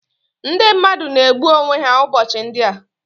Ndị mmadụ na-egbu onwe ha ụbọchị ndị a